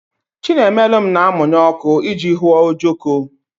Chinemelum na-amụnye ọkụ iji hụọ ojoko